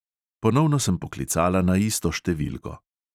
Ponovno sem poklicala na isto številko.